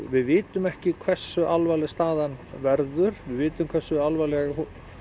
við vitum ekki hversu alvarlega staðan verður við vitum hversu alvarlega